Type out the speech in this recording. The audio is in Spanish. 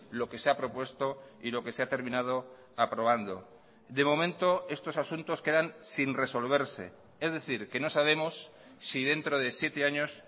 lo que se hapropuesto y lo que se ha terminado aprobando de momento estos asuntos quedan sin resolverse es decir que no sabemos si dentro de siete años